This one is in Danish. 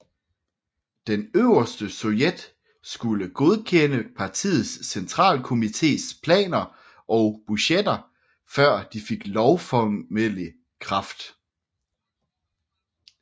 Den Øverste Sovjet skulle godkende partiets centralkomités planer og budgetter før de fik lovformelig kraft